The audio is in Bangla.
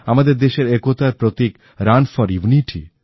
আমাদের দেশের একতার প্রতীক রান ফর ইউনিটি